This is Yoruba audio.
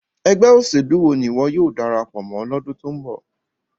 Ẹgbẹ oselu wo ni iwọ yóò darapo mo lodun to nbo?